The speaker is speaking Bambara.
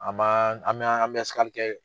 An man an man an bɛ kɛ.